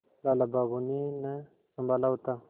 लाला बाबू ने न सँभाला होता